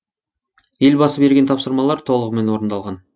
елбасы берген тапсырмалар толығымен орындалған